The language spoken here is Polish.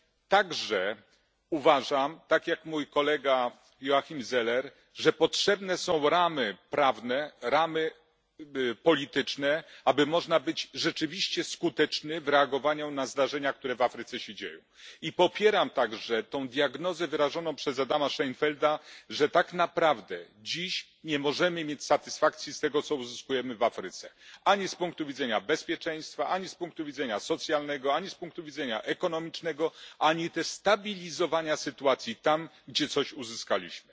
także uważam, tak jak mój kolega Joachim Zeller, że potrzebne są ramy prawne, ramy polityczne, aby można być rzeczywiście skutecznym w reagowaniu na zdarzenia, które w Afryce się dzieją. I popieram także tę diagnozę wyrażoną przez Adama Szejnfelda, że tak naprawdę dziś nie możemy mieć satysfakcji z tego, co uzyskujemy w Afryce, ani z punktu widzenia bezpieczeństwa, ani z punktu widzenia socjalnego, ani z punktu widzenia ekonomicznego, ani też stabilizowania sytuacji tam, gdzie coś uzyskaliśmy.